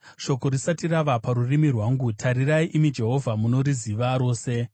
Shoko risati rava parurimi rwangu, tarirai, imi Jehovha, munoriziva rose.